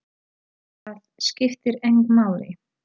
Það skiptir engu máli!